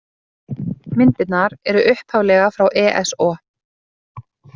Myndirnar eru upphaflega frá ESO.